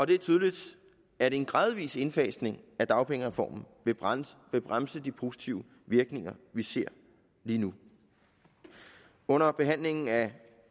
det er tydeligt at en gradvis indfasning af dagpengereformen vil bremse vil bremse de positive virkninger vi ser lige nu under behandlingen af